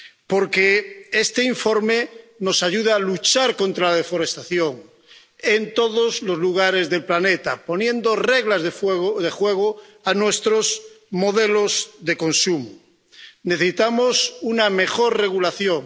Porque este informe nos ayuda a luchar contra la deforestación en todos los lugares del planeta, poniendo reglas de juego a nuestros modelos de consumo. Necesitamos una mejor regulación.